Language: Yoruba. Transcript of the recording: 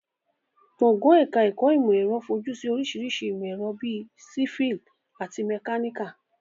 Gbọ̀ngàn ẹ̀ka ẹ̀kọ́ ìmọ̀ ẹ̀rọ fojú sí oríṣiríṣi ìmọ̀ ẹ̀rọ bíi sífíìlì àti mẹkáníkà